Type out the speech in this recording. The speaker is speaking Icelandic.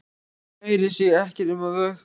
Kærir sig ekkert um að vökna.